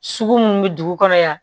Sugu munnu bɛ dugu kɔnɔ yan